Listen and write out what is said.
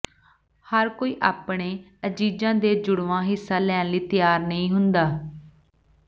ਹਰ ਕੋਈ ਆਪਣੇ ਅਜ਼ੀਜ਼ਾਂ ਦੇ ਜੁੜਵਾਂ ਹਿੱਸਾ ਲੈਣ ਲਈ ਤਿਆਰ ਨਹੀਂ ਹੁੰਦਾ